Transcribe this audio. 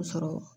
sɔrɔ